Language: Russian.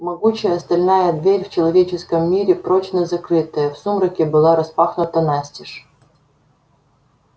могучая стальная дверь в человеческом мире прочно закрытая в сумраке была распахнута настежь